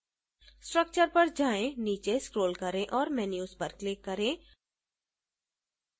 structure पर जाएँ नीचे scroll करें और menus पर click करें